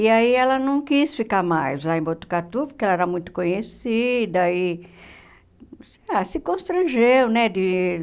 E aí ela não quis ficar mais lá em Botucatu, porque ela era muito conhecida e ah se constrangeu, né? De